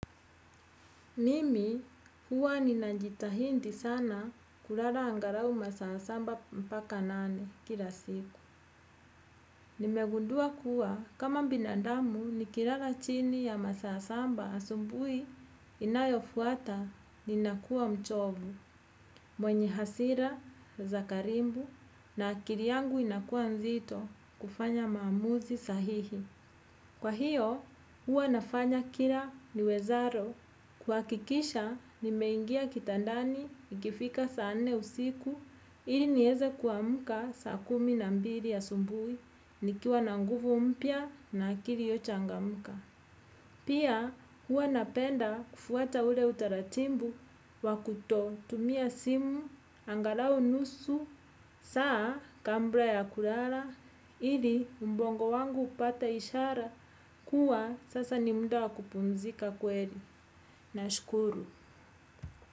Mimi huwa ninajitahidi sana kulala angalau masaa saba mpaka nane kila siku. Nimegundua kuwa kama binadamu nikilala chini ya masaa saba asubuhi inayofuata ninakua mchovu. Mwenye hasira za karibu na akili yangu inakua nzito kufanya maamuzi sahihi. Kwa hiyo, huwa nafanya kila niwezalo. Kuhakikisha, nimeingia kitandani, ikifika saa nne usiku, ili nieze kuamka saa kumi na mbili asubuhi, nikiwa na nguvu mpya na akili iliyochangamka. Pia huwa napenda kufuata ule utaratibu, wa kutotumia simu, angalau nusu, saa kabla ya kulala, ili ubongo wangu upata ishara kuwa sasa ni muda wa kupumzika kweli. Nashukuru.